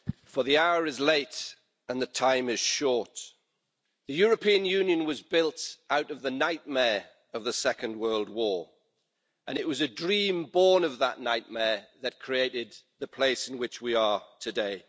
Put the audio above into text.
Madam President, for the hour is late, and the time is short. The European Union was built out of the nightmare of the Second World War and it was a dream born of that nightmare that created the place in which we are today.